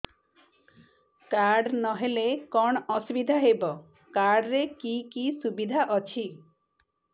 card ନହେଲେ କଣ ଅସୁବିଧା ହେବ କାର୍ଡ ରେ କି କି ସୁବିଧା ଅଛି